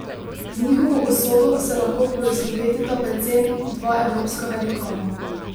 Z njihovo usodo se lahko poistovetita predvsem dva evropska velikana.